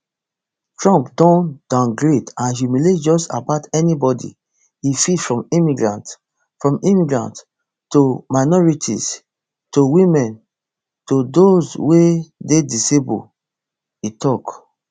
trump don downgrade and humiliate just about anybody e fit from immigrants from immigrants to minorities to women to dos wey dey disabled e tok